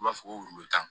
U b'a fɔ ko tan